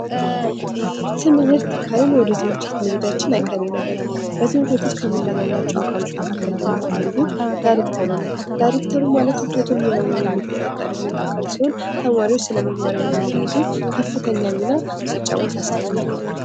ትምህርት ካልን ወደ ትምህርት ቤት መሄዳችን አይቀሬ ነገር ነው። በትምህርት ቤት ውስጥ ከምናገኛቸው አካሎች መካከል ደሞ አንዱ ደሞ አንዱ ዳይሬክተሩ ነው። ዳይሬክተሩ ማለት ትምህርት ቤት ሙሉ ለሙሉ የሚቆጣጠር አካል ሲሆን ተማሪዎች ስነምግባርንም እንዲይዙ ከፍተኛ ሚና ሲጫወት አስተውዬ አውቃልሁ።